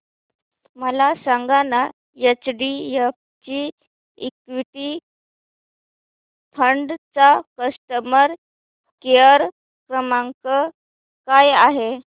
मला सांगाना HDFC equity fund चा कस्टमर केअर क्रमांक काय आहे